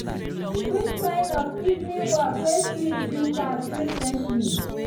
which kind of evening work way sweet you pass presently.